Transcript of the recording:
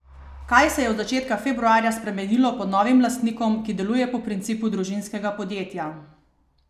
Kaj se je od začetka februarja spremenilo pod novim lastnikom, ki deluje po principu družinskega podjetja?